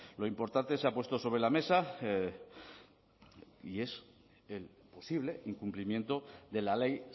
lo importante se ha puesto sobre la mesa y es el posible incumplimiento de la ley